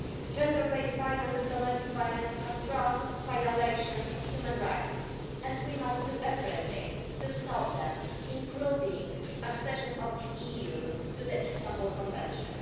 Gender based violence and domestic violence are gross violations of human rights, and we must do everything to stop them, including the accession of the EU to the Istanbul Convention.